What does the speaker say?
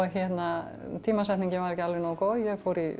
tímasetningin var ekki alveg nógu góð ég